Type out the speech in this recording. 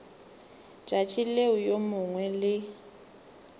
tšatši leo yo mongwe le